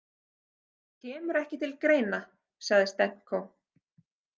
Kemur ekki til greina, sagði Stenko.